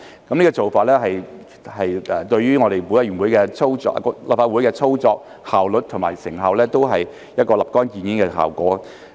這個做法對於我們立法會的操作、效率及成效均有一個立竿見影的效果。